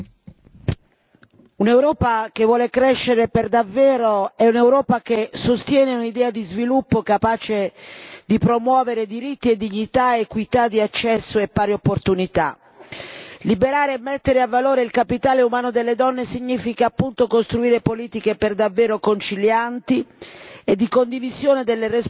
Signor Presidente, onorevoli colleghi, un'Europa che vuole crescere per davvero è un'Europa che sostiene un'idea di sviluppo capace di promuovere diritti e dignità, equità di accesso e pari opportunità. Liberare e mettere a valore il capitale umano delle donne significa, appunto, costruire politiche davvero concilianti